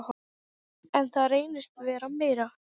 Snýr hana niður á hárinu.